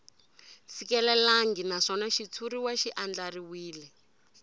fikelelangi naswona xitshuriwa xi andlariwile